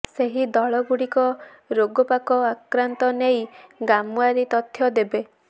ସେହି ଦଳଗୁଡ଼ିକ ରୋଗପୋକ ଆକ୍ରାନ୍ତ ନେଇ ଗ୍ରାମଓ୍ବାରୀ ତଥ୍ୟ ଦେବେ